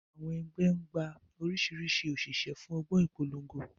Àwọn ẹgbẹ́ ń gba oríṣiríṣi òṣìṣẹ́ fún ọgbọ́n ìpolongo.